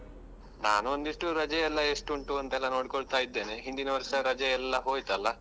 ನಾನು ಒಂದಿಷ್ಟು ರಜೆ ಎಲ್ಲ ಎಷ್ಟು ಉಂಟು ಅಂತೆಲ್ಲ ಅಂತ ನೋಡ್ಕೊಳ್ತಾ ಇದ್ದೇನೆ. ಹಿಂದಿನ ವರ್ಷ ರಜೆ ಎಲ್ಲ ಹೋಯ್ತಲ್ಲ.